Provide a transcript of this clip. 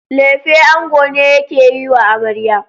Lefe ango ne yake yiwa amarya.